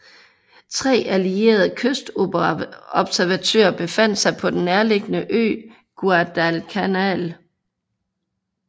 Tre allierede kystobservatører befandt sig på den nærliggende ø Guadalcanal